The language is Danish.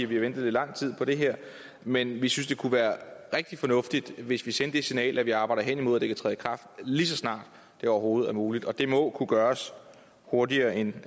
vi har ventet i lang tid på det her men vi synes det kunne være rigtig fornuftigt hvis vi sendte det signal at vi arbejder hen imod at det kan træde i kraft lige så snart det overhovedet er muligt og det må kunne gøres hurtigere end